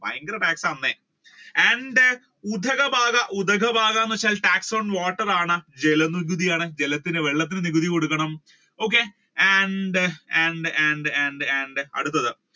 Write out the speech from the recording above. ഭയങ്കര tax ആണല്ലേ and then ഉദ്ഘബാഗാ ഉദ്ഘബാഗാ എന്ന് വെച്ചാൽ tax on water ആണ് ജലനികുതി ആണ് ജലത്തിന് വെള്ളത്തിന് നികുതി കൊടുക്കണം. and then, and then, and then, and then അടുത്തത്